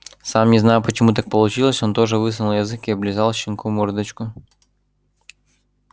сам не зная почему так получилось он тоже высунул язык и облизал щенку мордочку